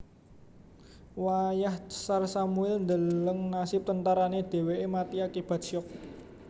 Wayah Tsar Samuil ndeleng nasib tentarané dhèwèké mati akibat syok